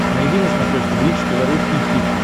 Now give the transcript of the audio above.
найди на смотрешке бридж тв русский хит